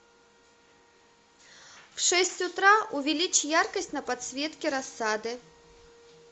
в шесть утра увеличь яркость на подсветке рассады